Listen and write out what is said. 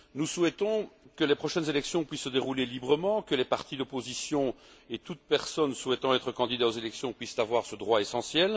Nous souhaitons que les prochaines élections puissent se dérouler librement, que les partis d'opposition et toute personne souhaitant être candidat aux élections puissent avoir ce droit essentiel.